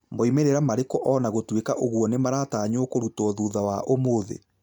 moimĩrĩra marĩku ona gũtwika ũguo nĩmaratanyo kũrutwa thutha wa ũmũthĩ